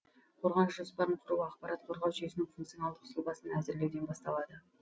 қорғаныш жоспарын құру ақпарат қорғау жүйесінің функционалдық сұлбасын әзірлеуден басталады